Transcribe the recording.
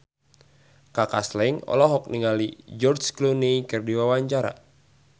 Kaka Slank olohok ningali George Clooney keur diwawancara